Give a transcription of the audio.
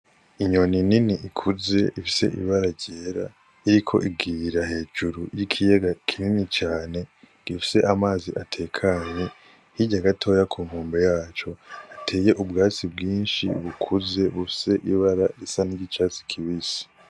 Inyoni nini ikuze ifise ibara ryera iriko igira hejuru y'ikiyaga kinini cane gifise amazi atekanye, hirya gatoyi ku nkombe yaco, hateye ubwatsi bwinshi bukuze, bufise ibara risa n'icatsi kibisi.